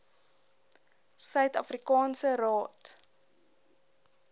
suid afrikaanse raad